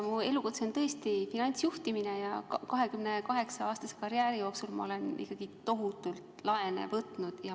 Mu elukutse on tõesti finantsjuhtimine ja 28-aastase karjääri jooksul olen ma ikkagi tohutult laene võtnud.